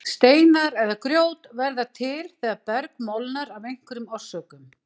Steinar eða grjót verða til þegar berg molnar af einhverjum orsökum.